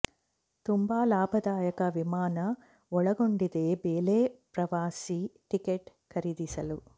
ತುಂಬಾ ಲಾಭದಾಯಕ ವಿಮಾನ ಒಳಗೊಂಡಿದೆ ಬೆಲೆ ಪ್ರವಾಸಿ ಟಿಕೆಟ್ ಖರೀದಿಸಲು